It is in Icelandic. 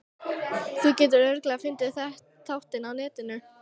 Þú getur örugglega fundið þáttinn á Netinu.